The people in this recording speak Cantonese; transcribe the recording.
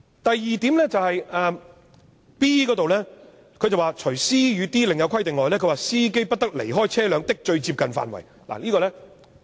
第二，第 b 段訂明"除 c 及 d 段另有規定外，司機不得離開車輛的最接近範圍"。